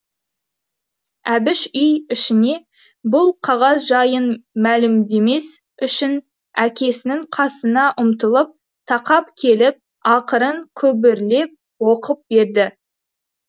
әбіш үй ішіне бұл қағаз жайын мәлімдемес үшін әкесінің қасына үмтылып тақап келіп ақырын күбірлеп оқып берді